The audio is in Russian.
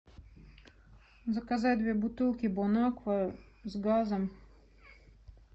заказать две бутылки бонаква с газом